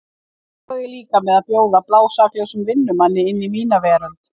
Hvað á ég líka með að bjóða blásaklausum vinnumanni inn í mína veröld.